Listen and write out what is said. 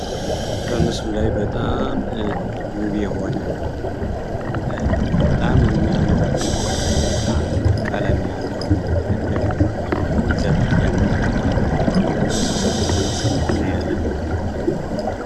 በምስሉ ላይ በጣም ውብ የሆነ በጣም የሚያምር ዲዛይን እና ቀለም ያለው ዘርፍ ያለው ጋቢ የለበሰ ሰው በዚህ ምስል እናያለን።